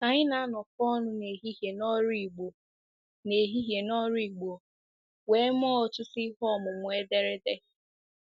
Anyị na-anọkọ ọnụ n'ehihie n'ọrụ Igbo n'ehihie n'ọrụ Igbo wee mee ọtụtụ ihe ọmụmụ ederede.